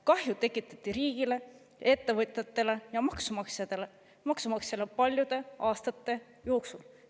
Kahju tekitati riigile, ettevõtjatele ja maksumaksjale paljude aastate jooksul.